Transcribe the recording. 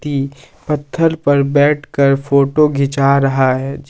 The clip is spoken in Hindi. की पत्थर पे बैठ कर फोटो खींचा रहा है।